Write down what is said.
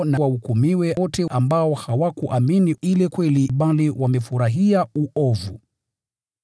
na wahukumiwe wote ambao hawakuiamini ile kweli, bali wamefurahia uovu.